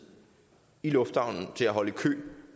i lufthavnen til at holde i kø